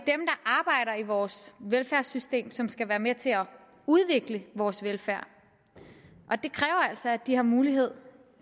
er i vores velfærdssystem som skal være med til at udvikle vores velfærd og det kræver altså at de har mulighed